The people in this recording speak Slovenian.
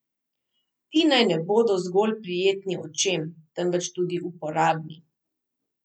Ti naj ne bodo zgolj prijetni očem, temveč tudi uporabni.